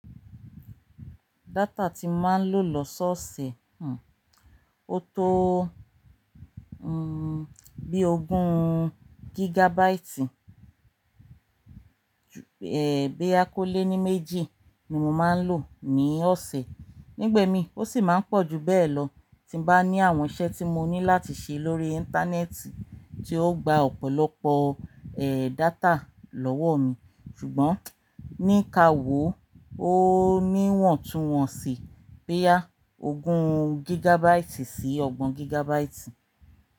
Data tí máa ń lò lọ́sọ̀ọ̀ṣe, hm, ó tó, hm, bí ogún gigabyte, è, bí a kólé ní méjì ni mo máa ń lò ní ọ̀sẹ̀. Nígba emi ó sì máa ń pọ̀ ju bẹ́ẹ̀ lọ tí bá ní àwọn iṣẹ́ tí mo ní láti ṣe lórí íńtánẹ́ẹ̀tì tí ó gba ọ̀pọ̀lọpọ̀, ẹ́, data lọ́wọ́ mi. Ṣùgbọ́n ní ka wò ó níwọ̀ntúnwọ̀nsì boya ogún gigabyte sí ọgbọ̀n gigabyte.